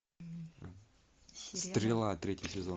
стрела третий сезон